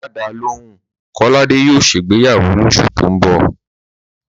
Má dáa lóhùn, Kọ́ládé yóò ṣègbéyàwó lóṣù tó ń bọ̀